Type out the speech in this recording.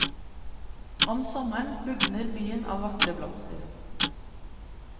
Om sommeren bugner byen av vakre blomster.